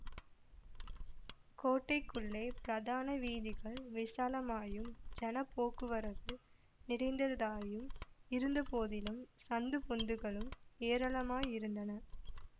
கோட்டைக்குள்ளே பிரதான வீதிகள் விசாலமாயும் ஜனப் போக்குவரவு நிறைந்ததாயும் இருந்தபோதிலும் சந்து பொந்துகளும் ஏராளமாயிருந்தன